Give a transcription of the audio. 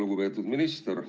Lugupeetud minister!